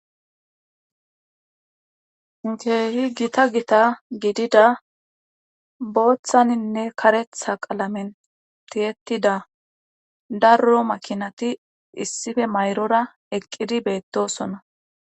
keehi gita gita gidida booththaninne karetha qalamen tiyettida darro makinati issife mayra eqqidi beettosona.